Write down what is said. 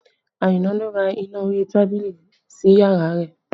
Aina ló ra iná orí tábìlì sí yàrá rẹ̀